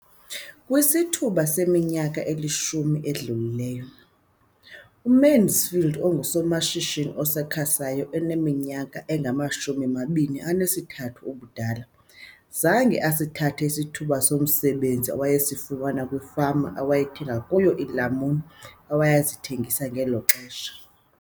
Kwisithuba seminyaka elishumi edlulileyo, uMansfield ongusomashishini osakhasayo oneminyaka engama-23 ubudala, zange asithathe isithuba somsebenzi awayesifumana kwifama awayethenga kuyo iilamuni awayezithengisa ngelo xesha.